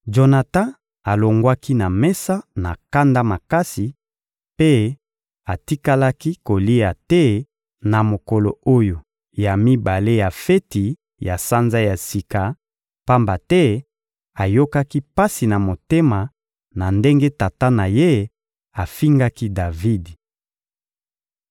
Jonatan alongwaki na mesa na kanda makasi mpe atikalaki kolia te na mokolo oyo ya mibale ya feti ya Sanza ya Sika, pamba te ayokaki pasi na motema na ndenge tata na ye afingaki Davidi.